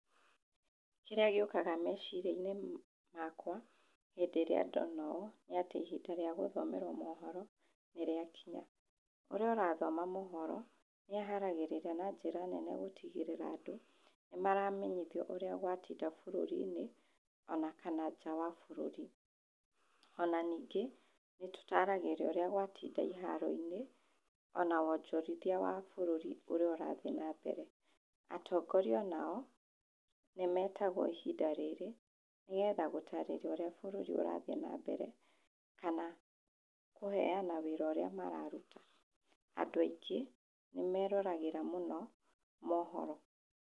Kĩrĩa gĩũkaga meciria-inĩ makwa hĩndĩ ĩrĩa ndona ũũ nĩ atĩ ihinda rĩa gũthomerwo mohoro nĩ rĩakinya. Ũrĩa ũrathoma mohoro nĩ aharagĩrĩria na njĩra nene gũtigĩrĩra andũ nĩ maramenyithio ũrĩa gwatinda bũrũri-nĩ ona kana nja wa bũrũri, ona ningĩ nĩ tũtaragĩrio ũrĩa gwatinda iharo-inĩ ona wonjorithia wa bũrũri ũrĩa ũrathiĩ na mbere. Atongoria onao nĩ metagwo ihinda rĩrĩ nĩ getha gũtarĩria ũrĩa bũrũri ũrathiĩ na mbere kana kũhena wĩra ũrĩa mararuta. Andũ aingĩ nĩ meroragĩra mũno mohoro.